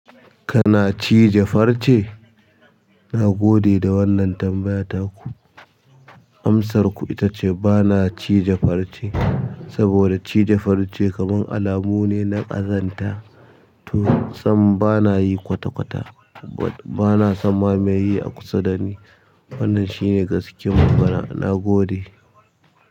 Kana cije farce? Nagode da wannan tambaya taku. Amsarku ita ce ba na cije farce saboda cije farce kamar alamu ne na ƙazanta. To, sannan ba na yi kwata-kwata, ba na san ma me yi a kusa da ni. Wannan shine gaskiyar magana. Na gode.